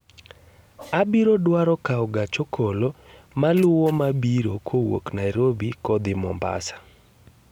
Abiro dwaro kawo gach okolo maluwo mabiro kowuok Nairobi kodhi Mombasa